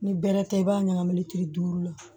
Ni bɛrɛ tɛ i b'a ɲagami kile duuru la